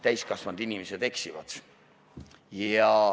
Täiskasvanud inimesed eksivad.